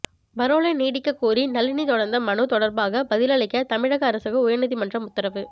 பரோலை நீட்டிக்க கோரி நளினி தொடர்ந்த மனு தொடர்பாக பதிலளிக்க தமிழக அரசுக்கு உயர்நீதிமன்றம் உத்தரவு